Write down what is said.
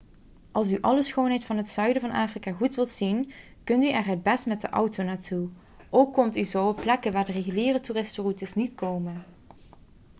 als u alle schoonheid van het zuiden van afrika goed wilt zien kunt u er het best met de auto naartoe ook komt u zo op plekken waar de reguliere toeristenroutes niet komen